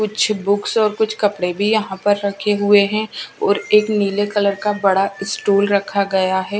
कुछ बुक्स और कुछ कपड़े भी यहां पर रखे हुए हैं और एक नीले कलर का बड़ा स्टूल रखा गया है।